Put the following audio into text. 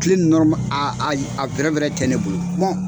Kile nɔrɔma a a y a tɛ ne bolo